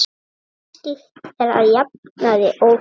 Slíkt er að jafnaði óþarft.